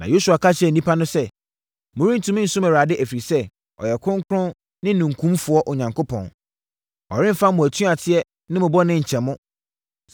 Na Yosua ka kyerɛɛ nnipa no sɛ, “Morentumi nsom Awurade, ɛfiri sɛ, ɔyɛ kronkron ne ninkunfoɔ Onyankopɔn. Ɔremfa mo atuateɛ ne mo bɔne nkyɛ mo.